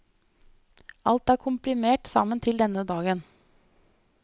Alt er komprimert sammen til denne dagen.